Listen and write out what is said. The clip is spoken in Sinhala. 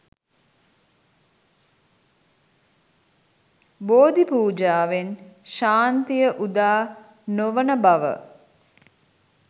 බෝධි පූජාවෙන් ශාන්තිය උදා නොවන බව